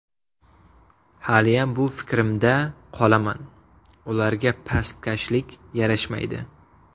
Haliyam bu fikrimda qolaman: ularga pastkashlik yarashmaydi.